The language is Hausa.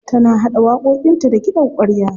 Tana haɗa waƙoƙinta da kiɗan ƙwarya.